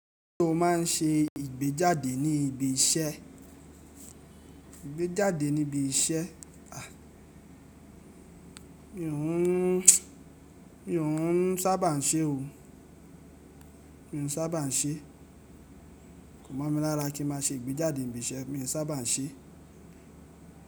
Ṣé o máà ń ṣe ìgbéjáde ní ibi iṣẹ́? Mi ò ún sábà ń ṣe o. Kò mọ̀ mi lára kí ń má ṣe ìgbéjáde ní ibi iṣẹ́, mi ò sábà ń ṣe.